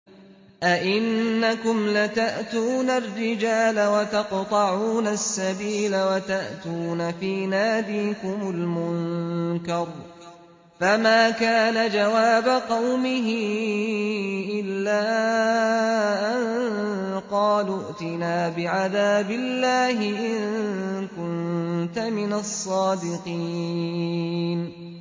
أَئِنَّكُمْ لَتَأْتُونَ الرِّجَالَ وَتَقْطَعُونَ السَّبِيلَ وَتَأْتُونَ فِي نَادِيكُمُ الْمُنكَرَ ۖ فَمَا كَانَ جَوَابَ قَوْمِهِ إِلَّا أَن قَالُوا ائْتِنَا بِعَذَابِ اللَّهِ إِن كُنتَ مِنَ الصَّادِقِينَ